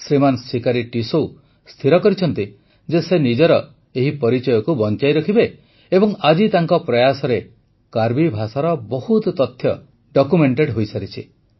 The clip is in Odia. ଶ୍ରୀମାନ ସିକାରୀ ଟିସୌ ସ୍ଥିର କରିଛନ୍ତି ଯେ ସେ ନିଜର ଏହି ପରିଚୟକୁ ବଂଚାଇ ରଖିବେ ଏବଂ ଆଜି ତାଙ୍କ ପ୍ରୟାସରେ କାର୍ବି ଭାଷାର ବହୁତ ତଥ୍ୟ ଡକ୍ୟୁମେଣ୍ଟେଡ ହୋଇସାରିଛି